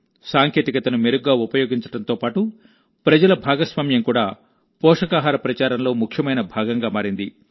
సాంకేతికతను మెరుగ్గా ఉపయోగించడంతో పాటు ప్రజల భాగస్వామ్యం కూడా పోషకాహార ప్రచారంలో ముఖ్యమైన భాగంగా మారింది